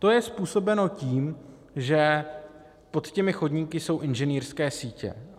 To je způsobeno tím, že pod těmi chodníky jsou inženýrské sítě.